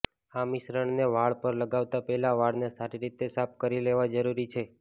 આ મિશ્રણને વાળ પર લગાવતા પહેલા વાળને સારી રીતે સાફ કરી લેવા જરૂરી છે